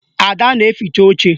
Ada na-eficha oche